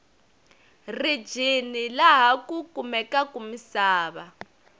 rijini laha ku kumekaku misava